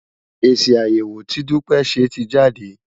Èsì àyẹ̀wò tí Dúpẹ́ ṣe ti jáde.